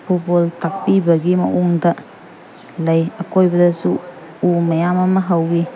Football ꯇꯥꯛꯄꯤꯕꯒꯤ ꯃꯑꯣꯡꯗ ꯂꯩ ꯑꯀꯣꯏꯕꯗꯁꯨ ꯎ ꯃꯌꯥꯝ ꯑꯃ ꯍꯧꯏ꯫